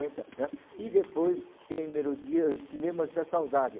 cinquenta, né? E depois tem Melodias, Cinemas da Saudade.